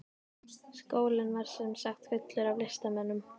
Skólinn var sem sagt fullur af listamönnum.